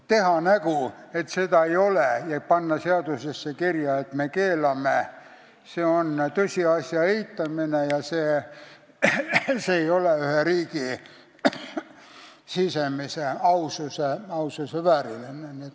Teha nägu, et seda ei ole ja panna seadusesse kirja, et me seda keelame, on tõsiasja eitamine, mis ei ole ühe riigi sisemise aususe vääriline.